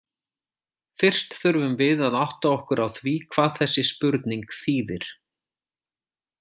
Fyrst þurfum við að átta okkur á því hvað þessi spurning þýðir.